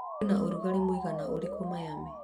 kũrĩ ũrugarĩ mũigana urĩku miami